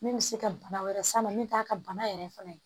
Min bɛ se ka bana wɛrɛ s'a ma min t'a ka bana yɛrɛ fana ye